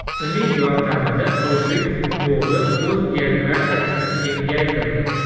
Uning yordamida o‘zbek futboli o‘z geografiyasini kengaytirdi.